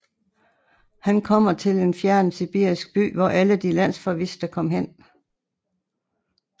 Han kommer til en fjern sibirisk by hvor alle de landsforviste kom hen